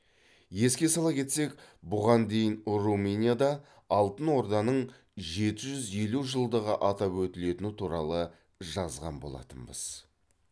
еске сала кетсек бұған дейін румынияда алтын орданың жеті жүз елу жылдығы атап өтілетіні туралы жазған болатынбыз